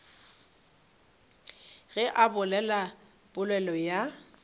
ge a bolela polelo ya